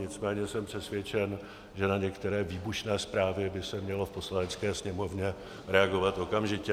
Nicméně jsem přesvědčen, že na některé výbušné zprávy by se mělo v Poslanecké sněmovně reagovat okamžitě.